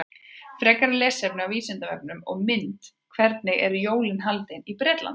Frekara lesefni á Vísindavefnum og mynd Hvernig eru jólin haldin í Bretlandi?